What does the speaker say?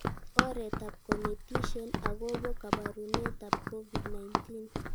Oretab konetishet akobo kabarunetab COVID-19